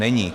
Není.